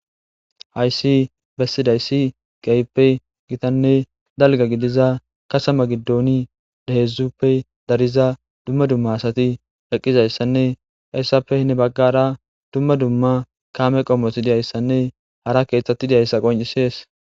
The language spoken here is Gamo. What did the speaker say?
Hayssi besidayssi kehippe githanne dalgga gidizza katham gidoni hexzuppe dariza dumma dumma assathi eqizanne heyssappe hin baggara dumma dumma kamme qomothi diyssanne hara keththathi diyssa qoncisess.